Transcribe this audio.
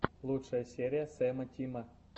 лучшая серия сэра тима